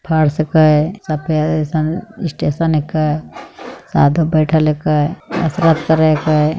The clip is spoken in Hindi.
फ़र्स ऐ कला सफ़ेद स्टेशन ऐ का साधु बैठल ए क कसरत करे हाय